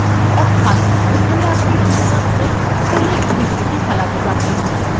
অর্থাত ওখানে আপনি শুধুমাত্র select বিবৃতি চালাতে পারবেন